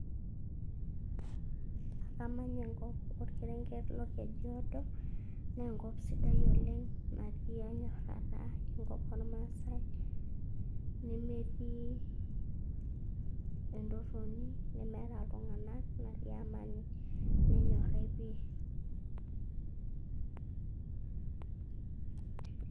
Amanya enkop olkerenge lolKejuado, naa enkop sidai oleng natii enyorata, enkop olmaasai, nemetii entoroni, nemeata iltung'ana, netii amani, nenyorrai pii.